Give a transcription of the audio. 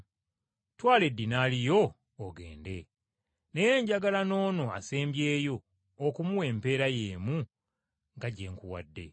Twala eddinaali yo ogende. Naye njagala n’ono asembyeyo okumuwa empeera y’emu nga gye nkuwadde.